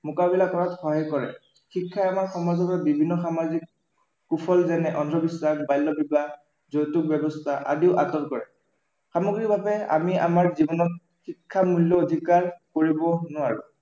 মোকাবিলা কৰাত সহায় কৰে। শিক্ষাই আমাৰ সমাজলৈ বিভিন্ন সামাজিক কুফল যেনে অন্ধবিশ্বাস, বাল্য়বিবাহ, যৌতুক ব্য়ৱস্থা আদিৰ কৰে। সামগ্ৰিকভাৱে আমি আমাৰ জীৱনত শিক্ষাৰ মূল্য় কৰিব নোৱাৰো।